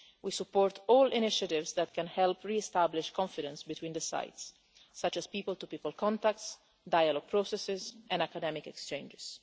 We support all initiatives that can help re establish confidence between the sides, such as people to people contacts, dialogue processes and academic exchanges.